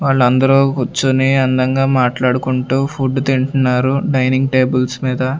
వాళ్ళు అందరూ కూర్చొని అందంగా మాట్లాడుకుంటూ ఫుడ్ తింటున్నారు డైనింగ్ టేబుల్స్ మీద.